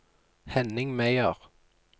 Henning Meyer